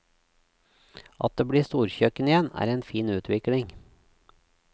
At det blir storkjøkken igjen, er en fin utvikling.